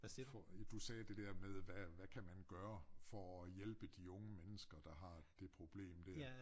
For ja du sagde det der med hvad hvad kan man gøre for at hjælpe de unge mennesker der har det problem der